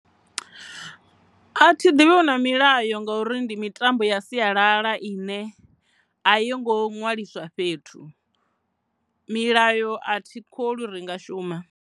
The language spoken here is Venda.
A thi ḓivhi hu na milayo ngauri ndi mitambo ya sialala ine a yongo ṅwaliswa fhethu, milayo a thikholwi uri nga shuma.